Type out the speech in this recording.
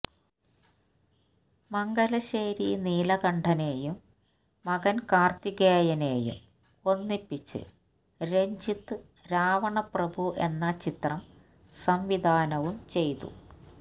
മംഗലശ്ശേരി നീലകണ്ഠനെയും മകന് കാര്ത്തികേയനെയും ഒന്നിപ്പിച്ച് രഞ്ജിത്ത് രാവണപ്രഭു എന്ന ചിത്രം സംവിധാനവും ചെയ്തു